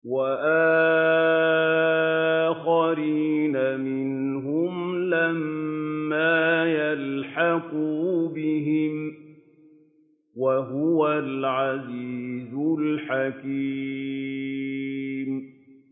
وَآخَرِينَ مِنْهُمْ لَمَّا يَلْحَقُوا بِهِمْ ۚ وَهُوَ الْعَزِيزُ الْحَكِيمُ